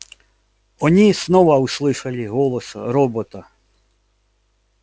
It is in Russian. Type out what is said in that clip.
они снова услышали голос робота